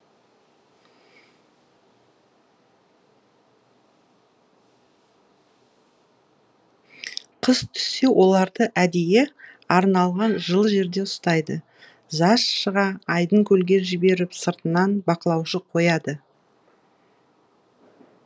қыс түссе оларды әдейі арналған жылы жерде ұстайды жаз шыға айдын көлге жіберіп сыртынан бақылаушы қояды